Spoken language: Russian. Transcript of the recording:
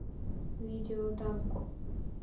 видео данко